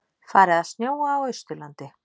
Farið að snjóa á Austurlandi